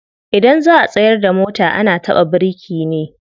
Idan za'a tsayar da mota ana taka biriki ne.